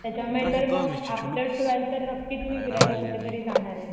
त्याच्यामुळे तर मग आफ्टर ट्वेल्थ तर नक्कीच मी फिरायला कुठेतरी जाणार आहे.